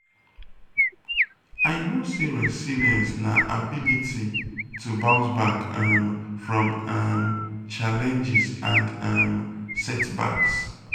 i know say resilience na ability to bounce back um from um challenges and um setbacks.